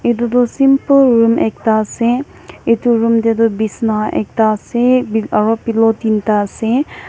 Etutu simple room ekta ase etu room tey tu besna ekta ase aro pillow tinta ase.